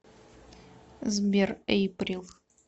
сбер эйприл